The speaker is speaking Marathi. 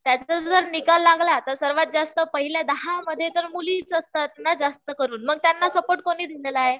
त्यांचा जर निकाल लागला तर सर्वात जास्त पहिल्या दहा मध्ये तर मुलीचं असतात ना जास्त करून मग त्यांना सपोर्ट कुणी दिलेलं आहे